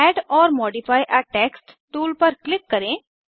add or modify a text tool पर click करें